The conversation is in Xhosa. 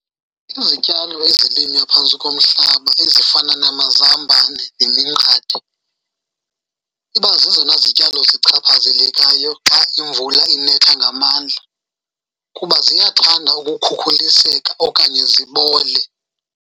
Izityalo ezilinywa phantsi komhlaba ezifana namazambane neminqathe iba zezona zityalo zichaphazelekayo xa imvula inetha ngamandla, kuba ziyathanda ukukhukhuliseka okanye zibole.